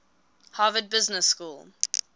harvard business school